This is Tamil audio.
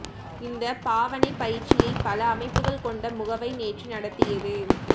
இந்த பாவனைப் பயிற்சியை பல அமைப்புகள் கொண்ட முகவை நேற்று நடத்தியது